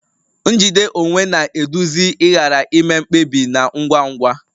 Njide onwe na-eduzi ịghara ime mkpebi na ngwa ngwa